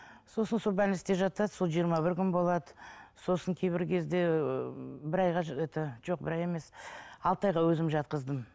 сосын сол жатады сол жиырма бір күн болады сосын кейбір кезде ыыы бір айға это жоқ бір ай емес алты айға өзім жатқыздым